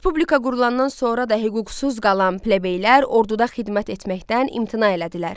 Respublika qurulandan sonra da hüquqsuz qalan plebeylər orduda xidmət etməkdən imtina elədilər.